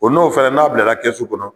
O n'o fana n'a bilara kɛsu kɔnɔ